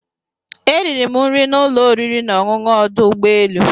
Eriri m nri n'ụlọ oriri na ọṅụṅụ ọdụ ụgbọ elu.